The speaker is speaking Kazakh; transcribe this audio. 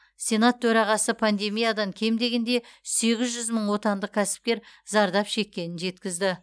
сенат төрағасы пандемиядан кем дегенде сегіз жүз мың отандық кәсіпкер зардап шеккенін жеткізді